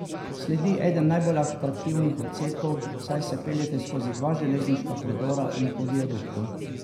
Sledi eden najbolj atraktivnih odsekov, saj se peljete skozi dva železniška predora in po viaduktu.